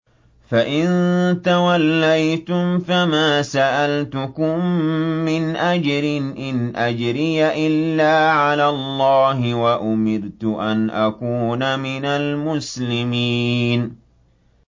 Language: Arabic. فَإِن تَوَلَّيْتُمْ فَمَا سَأَلْتُكُم مِّنْ أَجْرٍ ۖ إِنْ أَجْرِيَ إِلَّا عَلَى اللَّهِ ۖ وَأُمِرْتُ أَنْ أَكُونَ مِنَ الْمُسْلِمِينَ